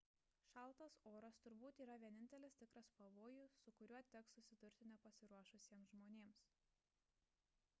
šaltas oras turbūt yra vienintelis tikras pavojus su kuriuo teks susidurti nepasiruošusiems žmonėms